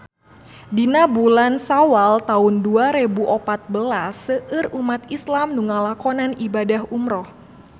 Dina bulan Sawal taun dua rebu opat belas seueur umat islam nu ngalakonan ibadah umrah